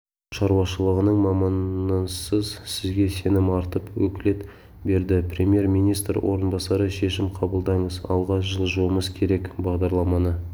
шаруашылғының маманысыз сізге сенім артып өкілет берді премьер-министр орынбасары шешім қабылдаңыз алға жылжуымыз керек бағдарламаны